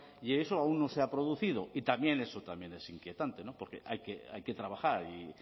y eso aún no se ha producido y también eso es inquietante porque hay que trabajar y